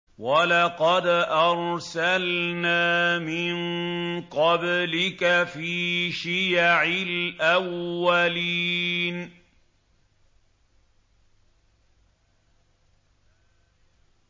وَلَقَدْ أَرْسَلْنَا مِن قَبْلِكَ فِي شِيَعِ الْأَوَّلِينَ